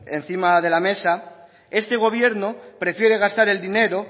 encima de la mesa este gobierno prefiere gastar el dinero